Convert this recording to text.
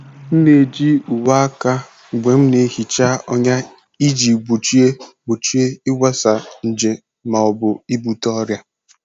M na-eji uwe aka mgbe m na-ehicha ọnya iji gbochie gbochie ịgbasa nje ma ọ bụ ibute ọrịa.